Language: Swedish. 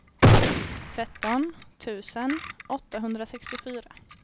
tretton tusen åttahundrasextiofyra